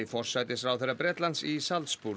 forsætisráðherra Bretlands í